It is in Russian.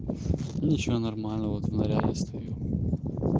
ничего нормально вот в наряде стою